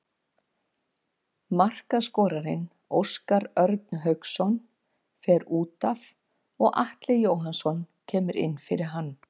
Markaskorarinn Óskar Örn Hauksson fer útaf og Atli Jóhannsson kemur inn fyrir hann.